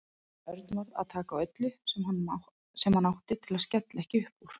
Örn varð að taka á öllu sem hann átti til að skella ekki upp úr.